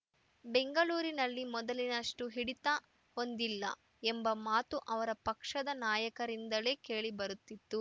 ಬೆಂಗಳೂರಿನಲ್ಲಿ ಮೊದಲಿನಷ್ಟುಹಿಡಿತ ಹೊಂದಿಲ್ಲ ಎಂಬ ಮಾತು ಅವರ ಪಕ್ಷದ ನಾಯಕರಿಂದಲೇ ಕೇಳಿಬರುತ್ತಿತ್ತು